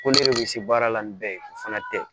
Ko ne yɛrɛ bɛ se baara la ni bɛɛ ye o fana tɛ